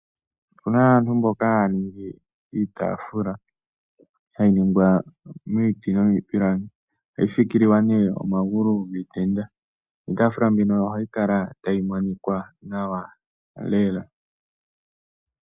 Opuna aantu mboka haya ningi iitafula. Hayi ningwa miiti nomiipilangi. Ohayi fikililwa nee omagulu giitenda. Niitafula mbino ohayi kala tayi monikwa nawa.